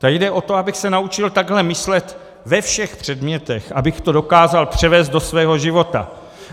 Tady jde o to, abych se naučil takhle myslet ve všech předmětech, abych to dokázal převést do svého života.